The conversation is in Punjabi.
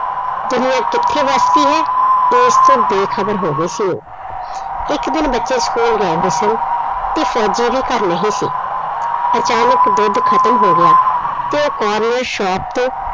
ਦੁਨਿਆਂ ਕਿੱਥੇ ਵੱਸਦੀ ਹੈ, ਉਸ ਤੋਂ ਬੇਖ਼ਬਰ ਹੋ ਗਈ ਸੀ ਉਹ, ਇੱਕ ਦਿਨ ਬੱਚੇ school ਗਏ ਹੋਏ ਸਨ ਤੇ ਫੌਜੀ ਵੀ ਘਰ ਨਹੀਂ ਸੀ, ਅਚਾਨਕ ਦੁੱਧ ਖ਼ਤਮ ਹੋ ਗਿਆ ਤੇ ਉਹ corner shop ਤੇ